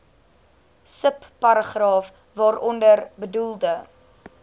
subparagraaf waaronder bedoelde